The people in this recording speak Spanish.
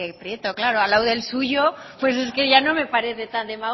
prieto claro al lado del suyo pues es que ya no me parece tan demagógico